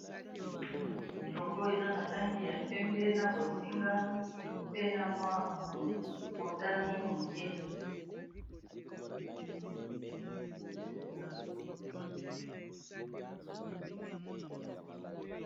Logo oyo eza na langi ya pembe na bozinga pe na mwa motani moke.